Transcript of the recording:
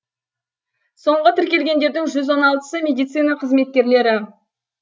соңғы тіркелгендердің жүз он алтысы медицина қызметкерлері